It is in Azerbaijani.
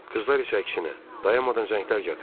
Qızlar isə əksinə, dayanmadan zənglər gəlir.